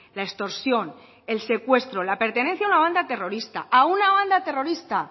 la extorsión el secuestro la pertenencia a una banda terrorista a una banda terrorista